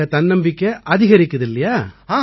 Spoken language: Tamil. அவங்க தன்னம்பிக்கை அதிகரிக்குது இல்லையா